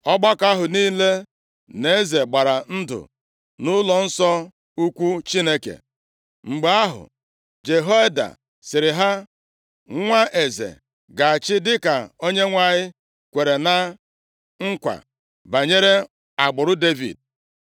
ọgbakọ ahụ niile na eze gbara ndụ nʼụlọnsọ ukwu Chineke. Mgbe ahụ, Jehoiada sịrị ha, “Nwa eze ga-achị dịka Onyenwe anyị kwere na nkwa banyere agbụrụ Devid.